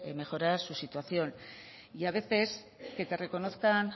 mejorar su situación y a veces que te reconozcan